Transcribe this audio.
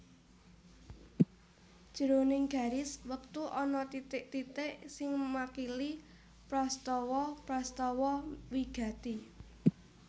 Jroning garis wektu ana titik titik sing makili prastawa prastawa wigati